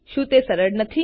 શું તે સરળ નથી